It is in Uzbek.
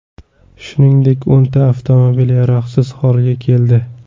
Shuningdek, o‘nta avtomobil yaroqsiz holga keldi.